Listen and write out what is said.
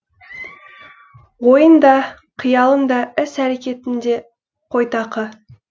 ойың да қиялың да іс әрекетің де қойтақы